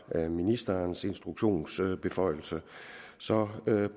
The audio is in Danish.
ministerens instruktionsbeføjelse så